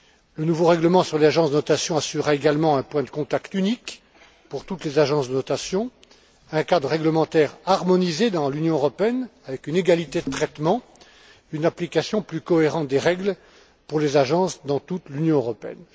Le nouveau règlement sur les agences de notation assurera également un point de contact unique pour toutes les agences de notation, un cadre réglementaire harmonisé dans l'Union européenne, avec une égalité de traitement, une application plus cohérente des règles pour les agences dans toute l'Union européenne.